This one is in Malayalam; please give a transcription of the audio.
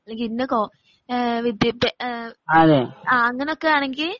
അല്ലങ്കിൽ ഇന്ന കോ ഏ വിദ്ത്യ ഏ അങ്ങനൊക്കെ ആണെങ്കിൽ